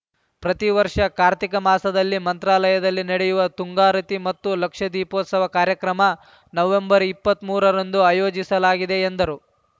ಪ್ರತಿ ವರ್ಷ ಕಾರ್ತಿಕ ಮಾಸದಲ್ಲಿ ಮಂತ್ರಾಲಯದಲ್ಲಿ ನಡೆಯುವ ತುಂಗಾರತಿ ಮತ್ತು ಲಕ್ಷ ದೀಪೋತ್ಸವ ಕಾರ್ಯಕ್ರಮ ನವೆಂಬರ್ ಇಪ್ಪತ್ತ್ ಮೂರರಂದು ಆಯೋಜಿಸಲಾಗಿದೆ ಎಂದರು